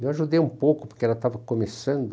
Eu ajudei um pouco, porque ela estava começando